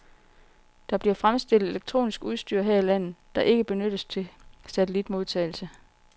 Der bliver fremstillet elektronisk udstyr her i landet, der ikke benyttes til satellitmodtagelse.